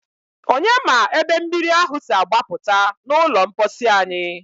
Onye ma ebe mmiri ahụ si agbapụta n'ụlọ mposi anyị?